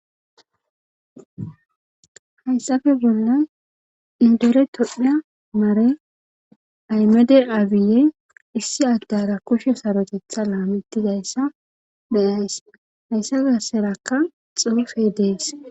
hayssafe bollan indere todhdha maare aymade aabiye issi addara kushe sarotetha laamettidayssa meyayss hayssa garserakka xoofe dees